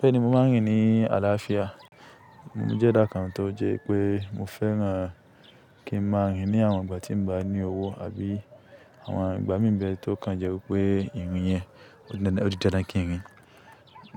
Bẹ́ẹ̀ni mo máa ń rìn ní àlàáfíà. Mo ní jẹ́ dáńkà tó jẹ́ pé mo fẹ́ran kí n máa ń rìn ní àwọn ìgbà tí mo bá ní owó àbí àwọn ìgbà mímbẹ tó kàn jẹ́ wípé ìrìn yẹn ó dáadáa kí n rìn.